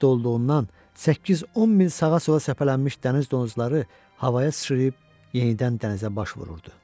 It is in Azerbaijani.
Döl vaxtı olduğundan 8-10 mil sağa-sola səpələnmiş dəniz donuzları havaya sıçrayıb yenidən dənizə baş vururdu.